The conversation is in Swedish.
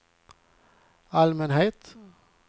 allmänhet